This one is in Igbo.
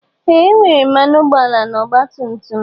Ee e nwere mmanụ ụgbọala na ọgba tum tum.